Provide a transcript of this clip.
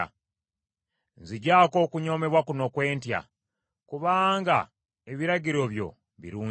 Nziggyako okunyoomebwa kuno kwe ntya, kubanga ebiragiro byo birungi.